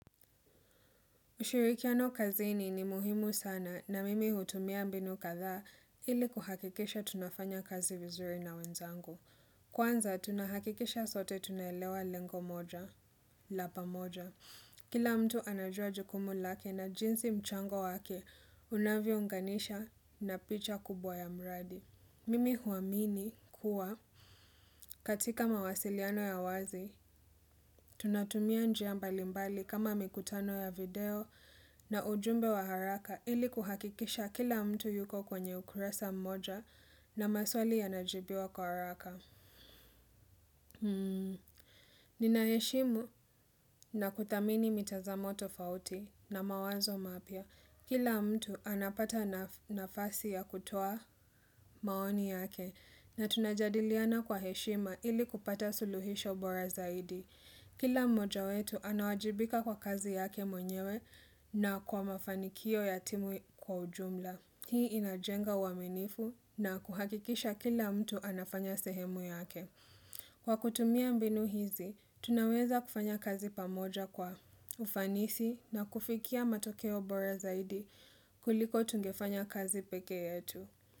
Ushirikiano kazini ni muhimu sana na mimi hutumia mbinu kadhaa ili kuhakikisha tunafanya kazi vizuri na wenzangu. Kwanza tunahakikisha sote tunaelewa lengo moja, lapa moja. Kila mtu anajua jukumu lake na jinsi mchango wake unavyo unganisha na picha kubwa ya mradi. Mimi huamini kuwa katika mawasiliano ya wazi, tunatumia njia mbalimbali kama mikutano ya video na ujumbe wa haraka ili kuhakikisha kila mtu yuko kwenye ukurasa mmoja na maswali ya najibiwa kwa haraka. Nina heshimu na kudhamini mitazamo tofauti na mawazo mapya Kila mtu anapata nafasi ya kutoa maoni yake na tunajadiliana kwa heshima ili kupata suluhisho bora zaidi Kila moja wetu anawajibika kwa kazi yake mwenyewe na kwa mafanikio yatimu kwa ujumla Hii inajenga uaminifu na kuhakikisha kila mtu anafanya sehemu yake Kwa kutumia mbinu hizi, tunaweza kufanya kazi pamoja kwa ufanisi na kufikia matokeo bora zaidi kuliko tungefanya kazi peke yetu.